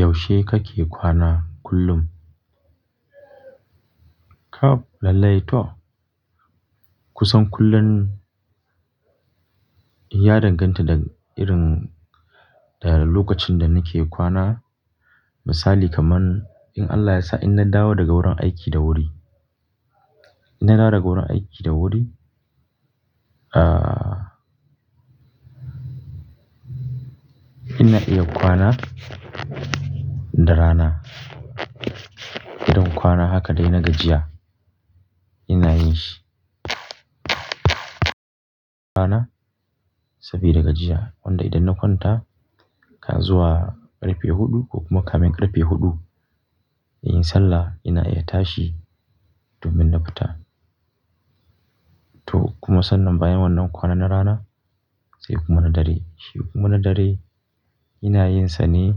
Yaushe kake kwana kullum? Kab lallai tau. Kusan kullun ya danganta da irin lokacin da nake kwana. Misali kaman in Allah ya sa in na dawo daga wurin aiki da wuri, in na dawo daga wurin aiki da wuri, ah, ina iya kwana da rana. Don kwana haka dai na gajiya ina yin shi. Kwana sabida gajiya wanda idan na kwanta kazuwa ƙarfe huɗu ko kuma kamen ƙarfe huɗu, inyi sallah ina iya tashi domin na fita. To kuma sannan bayan wannan kwana na rana sai kuma na dare. Shi kuma na dare ina yin sane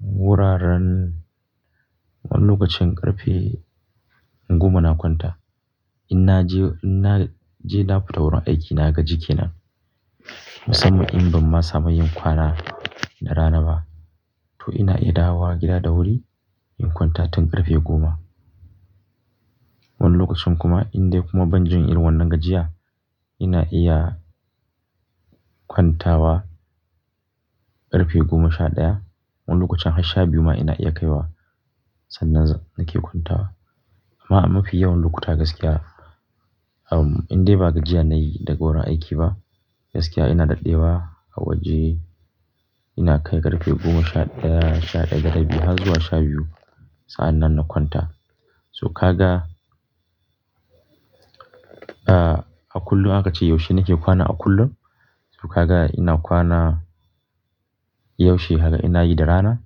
wuraren wani lokacin ƙarfe goma na kwanta. In na je, in na je na fita wurin aiki na gaji kenan. Musamman in ban ma samu yin kwana da rana ba to ina iya dawowa gida da wuri in kwanta tun ƙarfe goma. Wani lokacin kuma in dai kuma ban jin irin wannan gajiya ina iya kwantawa ƙarfe goma sha ɗaya. Wani lokacin har sha biyu ma ina iya kai wa sannan nake kwantawa. Amma mafi yawan lokutta gaskiya, um, in dai ba gajiya nayi daga wurin aiki ba, gaskiya ina daɗewa a waje ina kai ƙarfe goma shaɗaya, sha ɗaya da rabi har zuwa sha biyu sa'an nan na kwanta. So ka ga, ah, a kullum aka ce yaushe nake kwana a kullum. To ka ga ina kwana yaushe hala ina yi da rana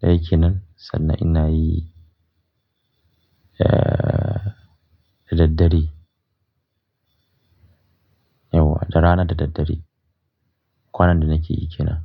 daya kenan sannan ina yi, ah, da daddare. Yauwa da rana da daddare kwana da nake yi kenan.